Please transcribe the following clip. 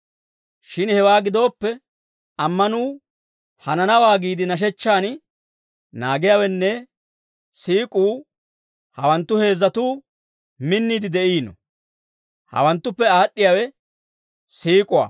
Shin hewaa gidooppe, ammanuu, hananawaa giide nashechchaan naagiyaawenne siik'uu, hawanttu heezzatuu minniide de'iino. Hawanttuppe aad'd'iyaawe siik'uwaa.